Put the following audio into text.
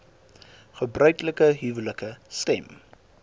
gebruiklike huwelike stem